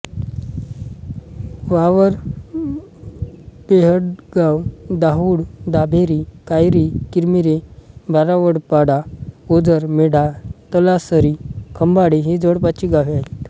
वावर बेहडगाव दाहुळ दाभेरी कायरी किरमिरे बारावडपाडा ओझर मेढा तलासरी खंबाळे ही जवळपासची गावे आहेत